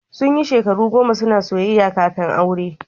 Sun yi shekaru goma suna soyayya kafin aure.